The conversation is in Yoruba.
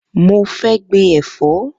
Mo fẹ́ gbin ẹ̀fọ́